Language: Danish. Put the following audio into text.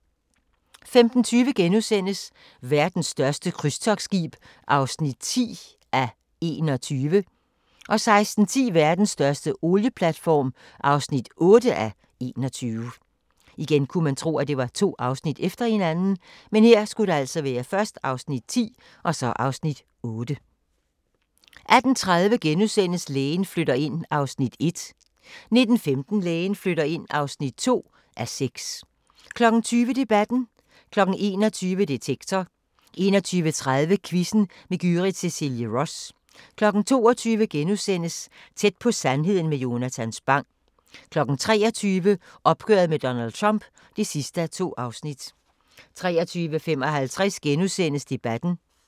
15:20: Verdens største krydstogtskib (10:21)* 16:10: Verdens største olieboreplatform (8:21) 18:30: Lægen flytter ind (1:6)* 19:15: Lægen flytter ind (2:6) 20:00: Debatten 21:00: Detektor 21:30: Quizzen med Gyrith Cecilie Ross 22:00: Tæt på sandheden med Jonatan Spang * 23:00: Opgøret med Donald Trump (2:2) 23:55: Debatten *